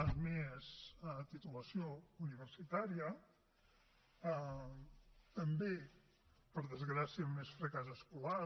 amb més titulació universitària també per desgràcia amb més fracàs escolar